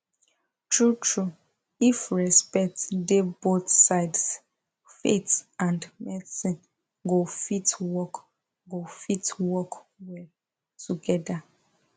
truetrue if respect dey both sides faith and medicine go fit work go fit work well together